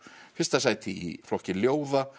fyrsta sæti í flokka ljóða